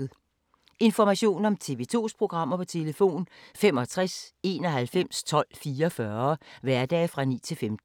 Information om TV 2's programmer: 65 91 12 44, hverdage 9-15.